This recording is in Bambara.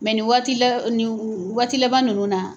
nin waati la nin waati laban ninnu na